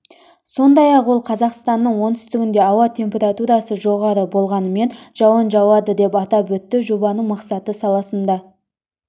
сондай-ақ ол қазақстанның оңтүстігінде ауа температурасы жоғары болғанымен жауын жауады деп атап өтті жобаның мақсаты саласында